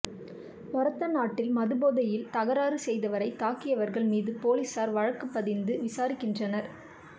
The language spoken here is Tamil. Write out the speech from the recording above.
ஒரத்தநாட்டில் மதுபோதையில் தகராறு செய்தவரை தாக்கியவா்கள் மீது போலீஸாா் வழக்குப் பதிந்து விசாரிக்கின்றனா்